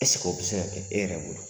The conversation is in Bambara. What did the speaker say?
Eseke o bɛ se ka kɛ e yɛrɛ bolo?